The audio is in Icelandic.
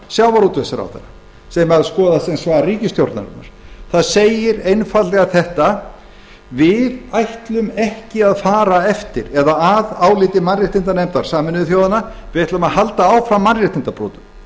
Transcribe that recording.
sjávarútvegsráðherra sem ber að skoðast sem svar ríkisstjórnarinnar það segir einfaldlega við ætlum ekki að fara að áliti mannréttindanefndar sameinuðu þjóðanna við ætlum að halda áfram mannréttindabrotum